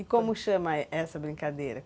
E como chama essa brincadeira?